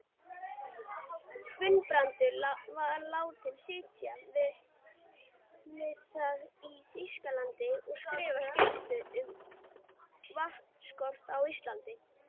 Guðbrandur látinn sitja við það í Þýskalandi að skrifa skýrslu um vatnsorku á Íslandi.